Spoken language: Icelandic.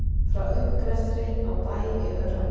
Frá uppgreftri á Bæ í Öræfum.